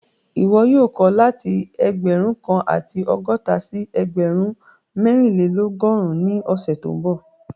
Ìwọ́ yóò kọ̀ láti ẹgbẹ́run kan àti ọgọta sí ẹgbẹ́run mẹ̀rìnlẹ̀lọ́gọ́run ni ọṣẹ̀ tó nbọ̀